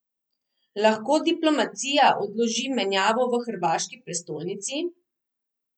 Lahko diplomacija odloži menjavo v hrvaški prestolnici?